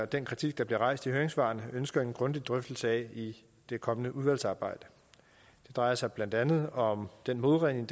den kritik der bliver rejst i høringssvarene ønsker en grundig drøftelse af i det kommende udvalgsarbejde det drejer sig blandt andet om den modregning